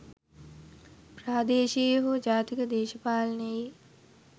ප්‍රාදේශීය හෝ ජාතික දේශපාලනයේ